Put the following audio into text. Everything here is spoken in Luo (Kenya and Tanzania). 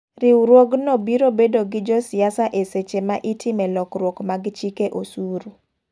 Riwruog no biro bedo gi jo siasa e seche ma itime lokruok mag chike osuru.